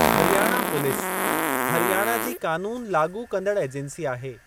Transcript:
Haryana police, Haryana जी कानून लाॻू कंदड़ एजेंसी आहे।